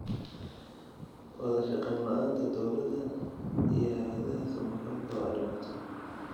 Wadashaqeyn la'aanta dowladda iyo hay'adaha samafalka waa dhibaato.